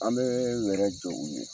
An bɛ wɛrɛ jɔ u ye.